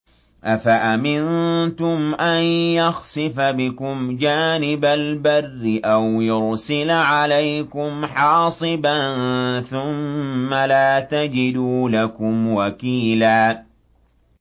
أَفَأَمِنتُمْ أَن يَخْسِفَ بِكُمْ جَانِبَ الْبَرِّ أَوْ يُرْسِلَ عَلَيْكُمْ حَاصِبًا ثُمَّ لَا تَجِدُوا لَكُمْ وَكِيلًا